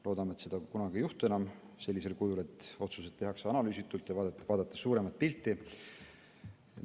Loodame, et seda enam kunagi sellisel kujul ei juhtu ning otsuseid tehakse analüüsitult ja suuremat pilti vaadates.